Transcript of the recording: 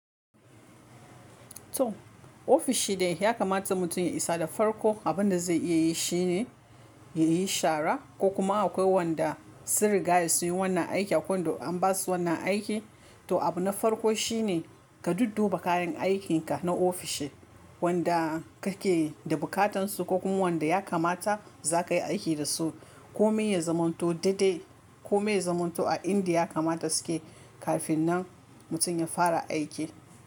To, ofishi dai ya kamata mutum ya isa da farko abin da zai iya yi shine ya yi shara ko kuma akwai wanda sun riga su yi wannan aiki a can da an ba su wannan aiki. To, abu na farko shi ne ka dudduba kayan aikinka na ofishi wanda kake da bukatan su ko kuma wanda ya kamata za ka yi aiki da su. Ko maye zamanto daidai, ko maye zamanto a indiya ya kamata suke kafin nan mutum ya fara aiki.